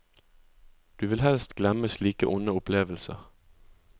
Du vil helst glemme slike onde opplevelser.